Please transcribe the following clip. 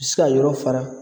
Se k'a yɔrɔ fara.